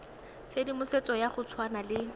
tshedimosetso ya go tshwana le